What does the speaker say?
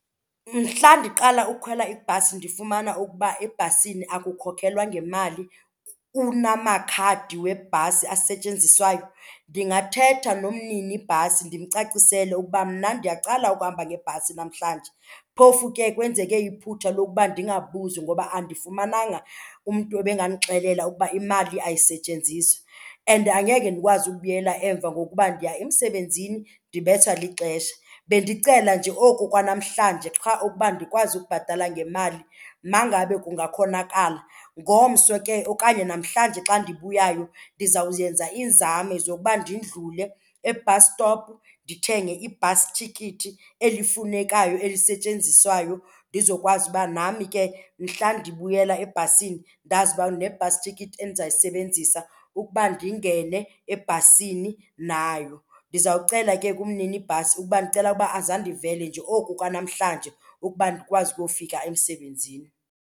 Mhla ndiqala ukhwela ibhasi ndifumana ukuba ebhasini akukhokhelwa ngemali kunamakhadi webhasi asetyenziswayo, ndingathetha nomninibhasi ndimcacisele ukuba mna ndiyaqala ukuhamba ngebhasi namhlanje. Phofu ke kwenzeke iphutha lokuba ndingabuzi ngoba andifumananga umntu ebengandixelela ukuba imali ayisetyenziswa and angeke ndikwazi ukubuyela emva ngokuba ndiya emsebenzini ndibethwa lixesha. Bendicela nje oku kwanamhlanje qha ukuba ndikwazi ukubhatala ngemali ma ngabe kungakhonakala. Ngomso ke okanye namhlanje xa ndibuyayo ndizawuyenza iinzame zokuba ndidlule e-bus stop ndithenge i-bus ticket elifunekayo elisetyenziswayo ndizokwazi uba nami ke mhla ndibuyela ebhasini ndazi uba ndine-bus yicket endizayisebenzisa ukuba ndingene ebhasini nayo. Ndizawucela ke kumninibhasi ukuba ndicela uba aze andivele nje oku kwanamhlanje ukuba ndikwazi ukuyofika emsebenzini.